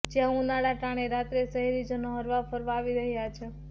જ્યાં ઉનાળા ટાણે રાત્રે શહેરીજનો હરવા ફરવા આવી રહ્યા છે